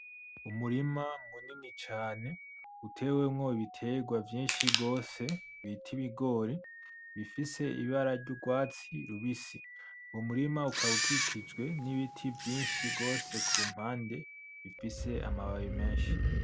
Umurima munini cane utewemwo ibiterwa vyinshi gose bita ibigori bifise ibara ry'urwatsi rubisi, uwo murima ukaba ukikijwe n'ibiti vyinshi gose kumpande bifise amababi menshi.